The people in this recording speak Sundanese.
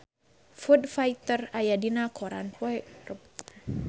Foo Fighter aya dina koran poe Rebo